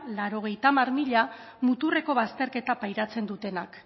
laurogeita hamar mila muturreko bazterketa pairatzen dutenak